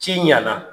Ci ɲɛna